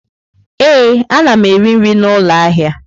Ee, ana m eri nri n'ụlọ ahịa.